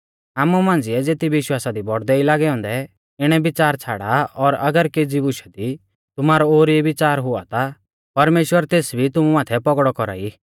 आमु मांझ़िऐ ज़ेती विश्वासा दी बौड़दै ई लागै औन्दै इणै बिच़ार छ़ाड़ा और अगर केज़ी बुशा दी तुमारौ ओर ई बिच़ार हुऔ ता परमेश्‍वर तेस भी तुमु माथै पौगड़ौ कौरा ई